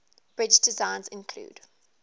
bridge designs include